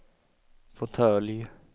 fåtölj